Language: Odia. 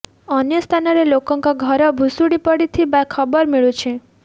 ଅନେକ ସ୍ଥାନରେ ଲୋକଙ୍କ ଘର ଭୁଶୁଡ଼ି ପଡ଼ିଥିବା ଖବର ମିଳୁଛି